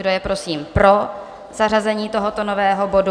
Kdo je prosím pro zařazení tohoto nového bodu?